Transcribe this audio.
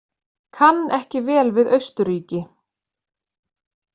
Kann ekki vel við Austurríki.